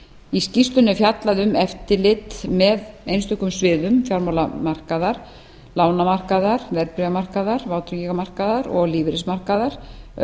í skýrslunni er fjallað um eftirlit með einstökum sviðum fjármálamarkaðar lánamarkaðar verðbréfamarkaðar vátryggingamarkaðar og lífeyrismarkaðar auk